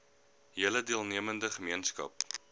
hele deelnemende gemeenskap